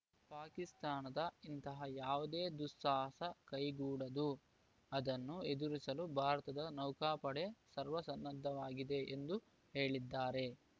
ಪಾಕಿಸ್ತಾನದ ಇಂತಹ ಯಾವುದೇ ದುಸ್ಸಾಹಸ ಕೈಗೂಡದು ಅದನ್ನು ಎದುರಿಸಲು ಭಾರತದ ನೌಕಾಪಡೆ ಸರ್ವಸನ್ನದ್ಧವಾಗಿದೆ ಎಂದು ಹೇಳಿದ್ದಾರೆ